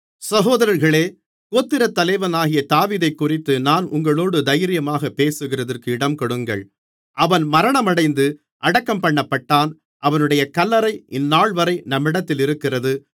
சகோதரர்களே கோத்திரத்தலைவனாகிய தாவீதைக்குறித்து நான் உங்களோடு தைரியமாகப் பேசுகிறதற்கு இடங்கொடுங்கள் அவன் மரணமடைந்து அடக்கம்பண்ணப்பட்டான் அவனுடைய கல்லறை இந்தநாள்வரை நம்மிடத்திலிருக்கிறது